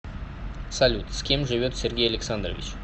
салют с кем живет сергей александрович